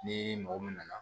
Ni mɔgɔ min nana